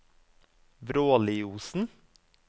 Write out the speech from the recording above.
Vråliosen